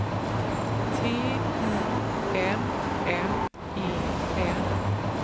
T I M M E N